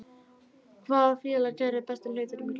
Hvaða félag gerði bestu hlutina í glugganum?